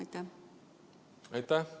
Aitäh!